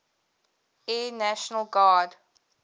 air national guard